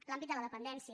l’àmbit de la dependència